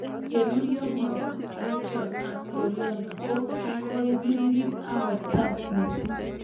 Ye rurio mogotiet ab Criollo ,ko koi, pirir ako echen mising'